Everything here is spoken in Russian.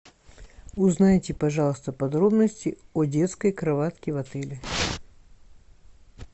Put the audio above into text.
узнайте пожалуйста подробности о детской кроватке в отеле